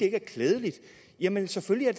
er klædeligt jamen selvfølgelig er